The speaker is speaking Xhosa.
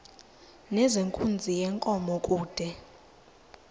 nezenkunzi yenkomo kude